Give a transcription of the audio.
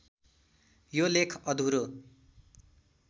यो लेख अधुरो